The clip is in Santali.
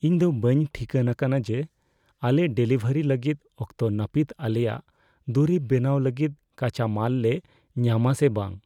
ᱤᱧ ᱫᱚ ᱵᱟᱹᱧ ᱴᱷᱤᱠᱟᱹᱱ ᱟᱠᱟᱱᱟ ᱡᱮ ᱟᱞᱮ ᱰᱮᱞᱤᱵᱷᱟᱹᱨᱤ ᱞᱟᱹᱜᱤᱫ ᱚᱠᱛᱚ ᱱᱟᱹᱯᱤᱛ ᱟᱞᱮᱭᱟᱜ ᱫᱩᱨᱤᱵ ᱵᱮᱱᱟᱣ ᱞᱟᱹᱜᱤᱫ ᱠᱟᱸᱪᱟᱢᱟᱞ ᱞᱮ ᱧᱟᱢᱟ ᱥᱮ ᱵᱟᱝ ᱾